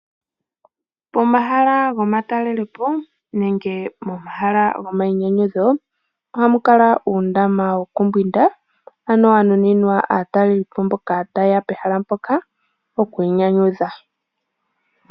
Pomahala gomatalelepo momahala gomayinyanyudho ohamu kala uundama wokumbwinda. Wa nuninwa aatalelipo mboka ta yeya pehala mpoka okwiinyanyudhila.